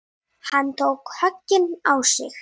Hann tók höggin á sig.